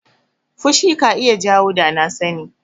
Fushi ka iya jawo danasani.